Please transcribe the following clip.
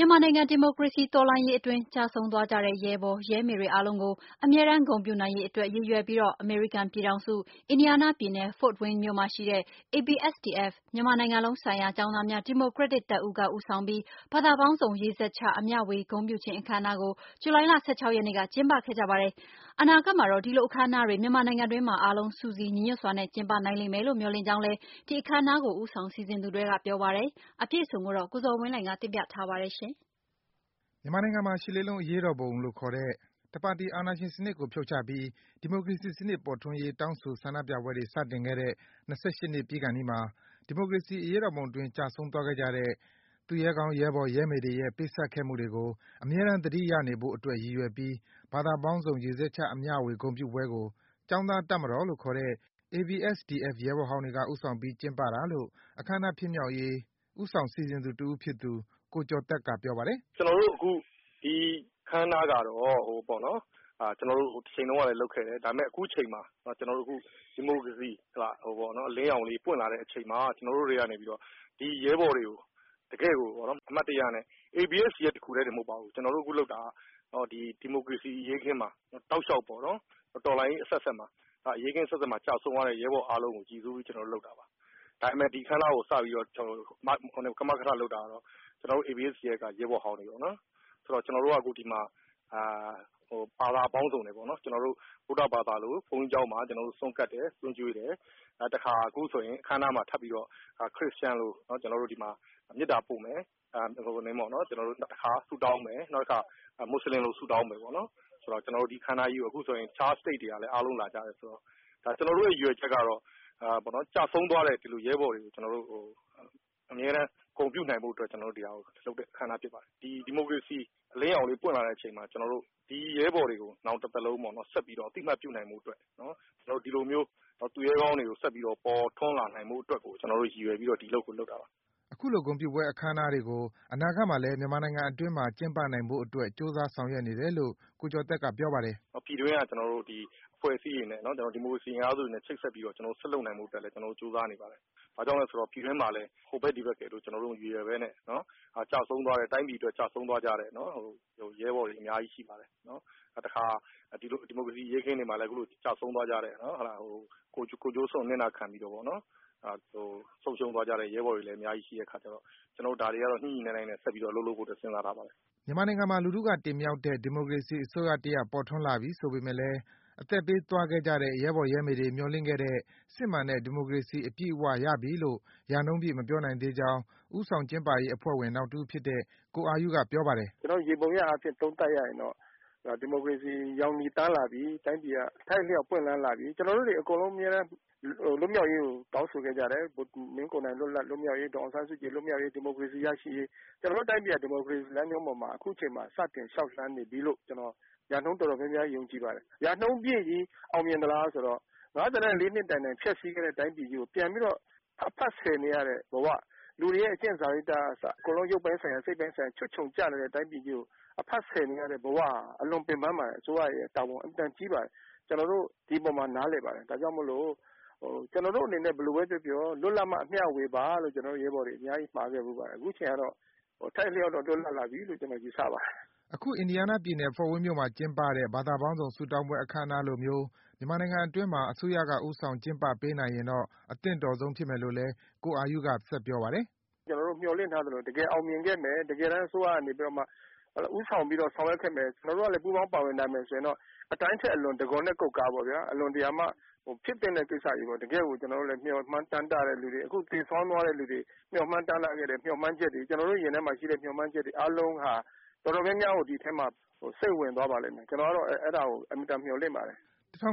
မြန်မာနိုင်ငံ ဒီမိုကရေစီ တော်လှန်ရေးအတွင်း ကျဆုံးသွားကြတဲ့ ရဲဘော်၊ ရဲမေတွေအားလုံးကို အမြဲတမ်း ဂုဏ်ပြုနိုင်ရေးအတွက် ရည်ရွယ်ပြီး အမေရိကန်ပြည်ထောင်စု၊ အင်ဒီးယားနားပြည်နယ် Fort Wayne မြို့မှာရှိတဲ့ ABSDF - မြန်မာနိုင်ငံလုံးဆိုင်ရာ ကျောင်းသားများ ဒီမိုကရက်တစ်တပ်ဦးက ဦးဆောင်ပြီး ဘာသာပေါင်းစုံ ရေစက်ချ အမျှေ၀ ဂုဏ်ပြုခြင်း အခမ်းအနားကို ဇူလိုင်လ ၁၆ ရက်နေ့က ကျင်းပခဲ့ကြပါတယ်။ အနာဂတ်မှာတော့ ဒီလိုအခမ်းအနားတွေ မြန်မာနိုင်ငံအတွင်းမှာ အားလုံး စုစည်း ညီညွတ်စွာနဲ့ ကျင်းပနိုင်လိမ့်မယ်လို့ မျှော်လင့်ကြောင်းလည်း ဒီအခမ်းအနားကို ဦးဆောင် စီစဉ်သူတွေက ပြောပါတယ်။ အပြည့်အစုံကိုတော့ ကိုဇော်ဝင်းလှိုင်က တင်ပြထားပါတယ်။ မြန်မာနိုင်ငံမှာ ရှစ်လေးလုံး အရေးတော်ပုံလို့ခေါ်တဲ့ တပါတီ အာဏာရှင်စနစ်ကို ဖြုတ်ချပြီး ဒီမိုကရေစီစနစ် ပေါ်ထွန်းရေး တောင်းဆို ဆန္ဒပြပွဲတွေ စတင်ခဲ့တဲ့ ၂၈ နှစ်ပြည့်ခါနီးမှာ ဒီမိုကရေစီ အရေးတော်ပုံအတွင်း ကျဆုံးသွားကြတဲ့ သူရဲကောင်း ရဲဘော်၊ ရဲမေတွေရဲ့ ပေးဆပ်ခဲ့မှုတွေကို အမြဲတမ်း သတိရနေဖို့အတွက် ရည်ရွယ်ပြီး ဘာသာပေါင်းစုံ ရေစက်ချ အမျှေ၀ ဂုဏ်ပြုပွဲကို ကျောင်းသား တပ်မတော်လို့ခေါ်တဲ့ ABSDF ရဲဘော်ဟောင်းတွေက ဦးဆောင်ပြီး ကျင်းပကြတာလို့ အခမ်းအနား ဖြစ်မြောက်ရေး ဦးဆောင် စီစဉ်သူတဦးဖြစ်တဲ့ ကိုကျော်သက်က ပြောပါတယ်။ “ကျနော်တို့ အခု ဒီအခမ်းအနားကတော့၊ ကျနော်တို့ ဟိုတချိန်တုန်းကလည်း လုပ်ခဲ့တယ်။ အခု ဒီမိုကရေစီ အလင်းရောင်လေး ပွင့်လာတဲ့အချိန်မှာ ကျနော်တို့တွေကနေပြီးတော့ ဒီရဲဘော်တွေကို တကယ့်ကိုပေါ့နော်၊ အမှတ်တရနဲ့ ABSDF တခုထဲတင် မဟုတ်ပါဘူး၊ ကျနော်တို့ အခုလုပ်တာက၊ ဒီမိုကရေစီ အရေးအခင်းမှာ တောက်လျှောက်ပေါ့နော်၊ တော်လှန်ရေးအဆက်ဆက်မှာ၊ အရေးအခင်းအဆက်ဆက်မှာ ကျဆုံးသွားတဲ့ ရဲဘော်အားလုံးကို ရည်စူးပြီး ကျနော်တို့ လုပ်တာပါ။ ဒါပေမဲ့ ဒီအခမ်းအနားကို စတင်ပြီး ကမကထလုပ်တာကတော့ ကျနော်တို့ ABSDF က ရဲဘော်ဟောင်းတွေပေါ့နော်။ ဆိုတော့ ကျနော်တို့က အခုဒီမှာ ဘာသာပေါင်းစုံပေါ့နော်၊ ဗုဒ္ဓဘာသာလို ဘုန်းကြီးကျောင်းမှာ ဆွမ်းကပ်တယ်။ တခါ အခုဆိုရင် အခမ်းအနားမှာ ထပ်ပြီးတော့ ခရစ်ယာန်လို ကျနော်တို့ ဒီမှာ မေတ္တာပို့မယ်၊ ကျနော်တို့ ဆုတောင်းမယ်။ နောက်တခါ မူဆလင်လို ဆုတောင်းမယ်ပေါ့နော်။ ကျနော်တို့ ဒီအခမ်းအနားကြီးမှာ တခြား State ကလည်း အားလုံး လာကြတယ်။ ကျနော်တို့ရဲ့ ရည်ရွယ်ချက်ကတော့ ကျဆုံးသွားတဲ့ ရဲဘော်တွေကို အမြဲတမ်း ဂုဏ်ပြုနိုင်ဖို့အတွက် ကျနော်တို့ လုပ်တဲ့အခမ်းအနား ဖြစ်ပါတယ်။ ဒီမိုကရေစီ အလင်းရောင်လေး ပွင့်လာတဲ့အချိန်မှာ ကျနော်တို့ ဒီရဲဘော်တွေကို ကျနော်တို့ တသက်လုံး ဆက်ပြီးတော့ အသိအမှတ်ပြုနိုင်ဖို့အတွက် ကျနော်တို့ ဒီလိုမျိုး သူရဲကောင်းတွေ ဆက်ပြီးတော့ ပေါ်ထွန်းလာဖို့အတွက်ကို ရည်ရွယ်ပြီးတော့ ကျနော်တို့ ဒီအလုပ်ကို လုပ်တာပါ။” အခုလို ဂုဏ်ပြုပွဲ အခမ်းအနားတွေကို အနာဂတ်မှာလည်း မြန်မာနိုင်ငံအတွင်းမှာ ကျင်းပနိုင်ဖို့အတွက် ကြိုးစား ဆောင်ရွက်နေတယ်လို့ ကိုကျော်သက်က ပြောပါတယ်။ “ပြည်တွင်းက အဖွဲ့အစည်းတွေနဲ့၊ ဒီမိုကရေစီအင်အားစုတွေနဲ့ ချိတ်ဆက်ပြီးတော့ ကျနော်တို့ ဆက်လုပ်နိုင်ဖို့ အတွက်လည်း ကြိုးစားနေပါတယ်။ ဘာကြောင့်လဲဆိုတော့ ပြည်တွင်းမှာလည်း ဟိုဘက်၊ ဒီဘက်ရယ်လို့ မရည်ရွယ်ဘဲနဲ့ တိုင်းပြည်အတွက် ကျဆုံးသွားကြရတဲ့ ရဲဘော်တွေ အများကြီး ရှိပါတယ်။ တခါ ဒီမိုကရေစီ အရေးအခင်းတွေမှာလည်း ကျဆုံးသွားကြတဲ့၊ ကိုယ်ကျိုးစွန့် အနစ်နာခံပြီးတော့ ဆုံးရှုံးသွားကြတဲ့ ရဲဘော်တွေလည်း အများကြီး ရှိတဲ့အခါကျတော့ ကျနော်တို့ ဒါတွေကတော့ ညှိညှိနှိုင်းနှိုင်းနဲ့ ဆက်ပြီးတော့ အလုပ်လုပ်ဖို့အတွက် စဉ်းစားထားပါတယ်။” မြန်မာနိုင်ငံမှာ လူထုက တင်မြှောက်တဲ့ ဒီမိုကရေစီအစိုးရတရပ် ပေါ်ထွန်းလာပြီဆိုပေမဲ့လည်း အသက်ပေးသွားကြတဲ့ ရဲဘော်၊ ရဲမေတွေ မျှော်လင့်ခဲ့တဲ့ စစ်မှန်တဲ့ ဒီမိုကရေစီ အပြည့်အဝရပြီလို့ ရာနှုန်းပြည့် မပြောနိုင်သေးကြောင်း ဦးဆောင်ကျင်းပရေးအဖွဲ့ဝင် နောက်တဦးဖြစ်တဲ့ ကိုအာယုက ပြောပါတယ်။ “ကျနော်တို့ ယေဘုယျအားဖြင့် သုံးသပ်ရရင်တော့ ဒီမိုကရေစီ ရောင်ချည်သန်းလာပြီ၊ အထောက်အလျှောက် ပွင့်လန်းလာပြီ။ ကျနော်တို့တွေ အမြဲတမ်း လွတ်မြောက်ရေးကို တောင်းဆိုခဲ့ကြတယ်၊ မင်းကိုနိုင် လွတ်မြောက်ရေး၊ ဒေါ်အောင်ဆန်းစုကြည် လွတ်မြောက်ရေး၊ ဒီမိုကရေစီ ရရှိရေး။ ကျနော်တို့ တိုင်းပြည်ဟာ ဒီမိုကရေစီလမ်းကြောင်းပေါ်မှာ စတင် လျှောက်လမ်းနေပြီလို့ ရာနှုန်းတော်တော်များများ ယုံကြည်ပါတယ်။ ရာနှုန်းပြည်ကြီး အောင်မြင်သလားဆိုတော့ နှစ်တိုင်တိုင် ဖျက်ဆီးခဲ့တဲ့ တိုင်းပြည်ကြီးကို ပြန်ပြီးတော့ အဖတ်ဆည်နေရတဲ့ဘဝ၊ လူတွေရဲ့ အကျင့်စာရိတ္တကစ၊ အကုန်လုံး ရုပ်ပိုင်းဆိုင်ရာ၊ စိတ်ပိုင်းဆိုင်ရာ ချွတ်ခြုံကျနေတဲ့ တိုင်းပြည်ကြီးကို အဖတ်ဆည်နေရတဲ့ ဘဝဟာ အလွန် ပင်ပန်းပါတယ်။ အစိုးရရဲ့တာဝန် အင်မတန် ကြီးပါတယ်။ ကျနော်တို့ ဒီအပေါ်မှာ နားလည်ပါတယ်။ ဒါကြောင့်မို့လို့ ကျဆေနာ်တို့အနေနဲ့ ဘယ်လိုပဲ ပြောပြော လွှတ်လပ်မှ အမျှဝေပါလို့ ကျနော်တို့ ရဲဘော်တွေ အများကြီး မှာခဲ့ဖူးပါတယ်။ အခုအချိန်ကတော့ အထိုက်အလျှောက်တော့ လွတ်လပ်လာပြီလို့ ကျနော် ယူဆပါတယ်။” အခု အင်ဒီယားနားပြည်နယ်၊ Fort Wayne မြို့မှာ ကျင်းပတဲ့ ဘာသာပေါင်းစုံ ဆုတောင်းပွဲ အခမ်းအနားလိုမျိုး မြန်မာနိုင်ငံအတွင်းမှာ အစိုးရက ဦးဆောင်ကျင်းပပေးနိုင်ရင်တော့ အသင့်တော်ဆုံး ဖြစ်မယ်လို့လည်း ကိုအာယုက ဆက်ပြောပါတယ်။ “ကျနော်တို့ မျှော်လင့်ထားသလို တကယ် အောင်မြင်ခဲ့မယ်၊ တကယ်တမ်း အစိုးရကနေပြီးတော့မှ ဦးဆောင်ပြီးတော့ ဆောင်ရွက်ခဲ့မယ်၊ ကျနော်တို့ကလည်း ပူးပေါင်း ပါဝင်နိုင်မယ်ဆိုရင်တော့ အတိုင်းထက်အလွန်၊ တံခွန်နဲ့ကုက္ကားပေါ့ဗျာ။ အလွန်တရာမှ ဖြစ်သင့်တဲ့ကိစ္စကြီးပေါ့။ တကယ့်ကို ကျနော်တို့လည်း မျှော်မှန်းတမ်းတဲ့လူတွေ။ အခု သေဆုံးသွားတဲ့လူတွေ မျှော်မှန်း တမ်းတခဲ့တဲ့ မျှော်မှန်းချက်တွေ၊ ကျနော်တို့ ရင်ထဲမှာရှိတဲ့ မျှော်မှန်းချက်တွေ အားလုံးဟာ တော်တော်များများကို ဒီအထဲမှာ စိမ့်ဝင်သွားပါလိမ့်မယ်။ ကျနော်ကတော့ အဲဒါကို အင်မတန် မျှော်လင့်ပါတယ်။” ၁၉၈၈